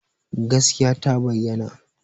Gaskiya ta bayyana